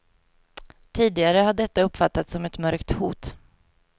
Tidigare har detta uppfattats som ett mörkt hot.